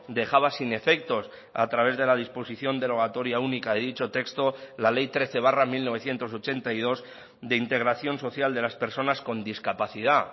dejaba sin efectos a través de la disposición derogatoria única de dicho texto la ley trece barra mil novecientos ochenta y dos de integración social de las personas con discapacidad